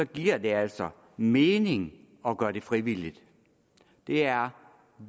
giver det altså mening at gøre det frivilligt det er